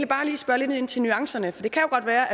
bare lige spørge lidt ind til nuancerne for det kan jo godt være